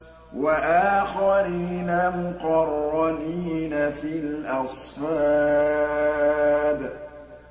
وَآخَرِينَ مُقَرَّنِينَ فِي الْأَصْفَادِ